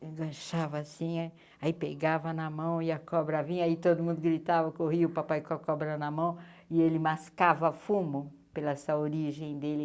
agachava assim, aí pegava na mão e a cobra vinha, aí todo mundo gritava, corria o papai com a cobra na mão e ele mascava fumo pela essa origem dele.